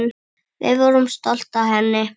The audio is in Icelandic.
Við vorum stolt af henni.